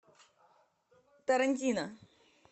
тарантино